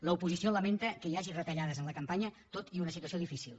l’oposició lamenta que hi hagi retallades en la campanya tot i una situació difícil